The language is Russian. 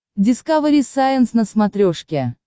дискавери сайенс на смотрешке